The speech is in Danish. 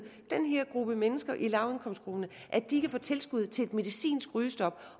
den her gruppe mennesker i lavindkomstgrupperne at de kan få tilskud til medicinsk rygestop